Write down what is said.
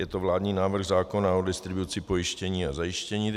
Je to vládní návrh zákona o distribuci pojištění a zajištění.